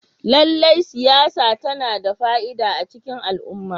Lallai siyasa tana da fa'ida a cikin al'umma.